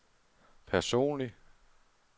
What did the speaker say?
personlig